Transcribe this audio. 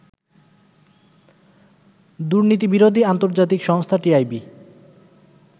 দুর্নীতিবিরোধী আন্তর্জাতিক সংস্থা টিআইবি